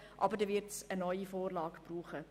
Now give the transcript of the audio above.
Aber nun wird es eine neue Vorlage geben müssen.